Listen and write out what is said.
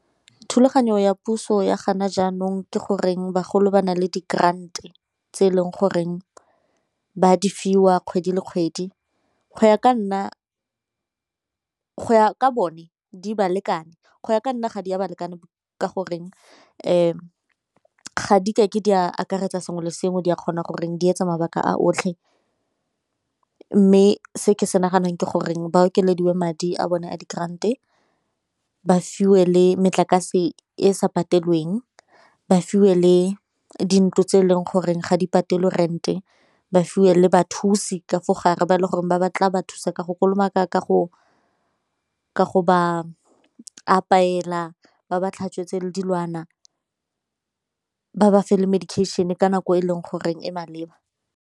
Thulaganyo ya puso ya jaanong ke goreng bagolo ba na le di-grant tse e leng goreng ba di fiwa kgwedi le kgwedi, go ya ka bone di balekane go ya ka nna ga di ya ba lekana ka goreng ga di kake di a akaretsa sengwe le sengwe, di a kgona gore di etsa mabaka a otlhe. Mme se ke se naganang ke gore ba okediwe madi a bone a di-grant-e ba fiwe le metlakase e sa patelweng, ba fiwe le dintlo tse e leng gore ga di patelwe rent-e, ba fiwe le bathusi ka fa gare ba e le goreng ba ba tla ba thusa ka go kolomaka ka go ba apeela ba ba tlhatswetse le dilwana, ba ba felele medication-e ka nako e leng goreng e maleba..